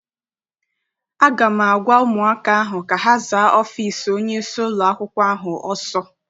A ga m agwa ụmụaka ahụ ka ha zaa ọfịịsi onyeisi ụlọakwụkwọ ahụ ọsọ!